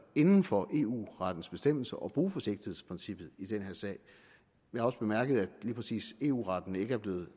inden for eu rettens bestemmelser at bruge forsigtighedsprincippet i den her sag vi har også bemærket at lige præcis eu retten ikke er blevet